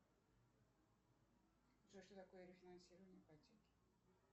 джой что такое рефинансирование ипотеки